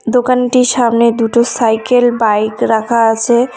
দোকানটির সামনে দুটো সাইকেল বাইক রাখা আছে।